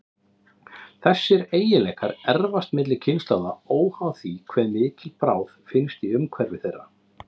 Þessir eiginleikar erfast milli kynslóða, óháð því hve mikil bráð finnst í umhverfi þeirra.